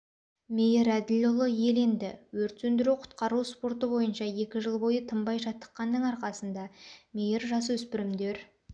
мейір әділұлы иеленді өрт сөндіру-құтқару спорты бойынша екі жыл бойы тынбай жаттыққанның арқасында мейр жасөспірімдер